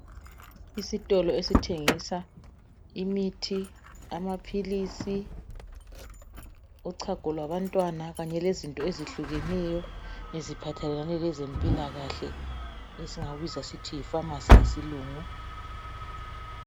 Isitolo esithengisa imithi amaphilisi uchago lwabantwana kanye lezinto ezehlukeneyo eziphathelane lezempilakahle esingakubiza sithi yifamasi ngesilungu.